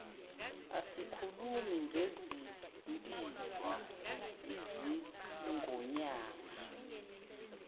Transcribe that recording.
asikhulumi ngezimpisi izingonyama